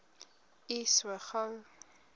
u so gou